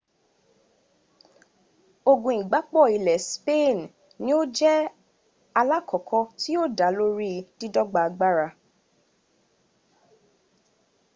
ogun igbapò ilẹ̀ spain ni ó jẹ́ alákọ̀ọ́kọ́ tí yóò dá lórí dídọ́gba agbára